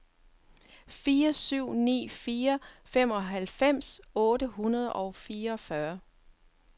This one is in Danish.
fire syv ni fire femoghalvfems otte hundrede og fireogfyrre